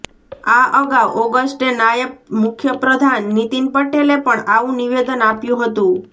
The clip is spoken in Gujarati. આ અગાઉ ઓગષ્ટે નાયબ મુખ્યપ્રધાન નીતિન પટેલે પણ આવું નિવેદન આપ્યું હતું